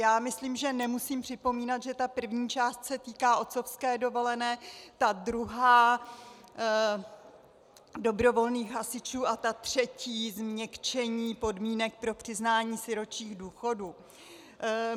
Já myslím, že nemusím připomínat, že ta první část se týká otcovské dovolené, ta druhá dobrovolných hasičů a ta třetí změkčení podmínek pro přiznání sirotčích důchodů.